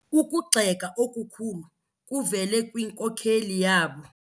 Ukugxeka okukhulu kuvele kwinkokeli yabo.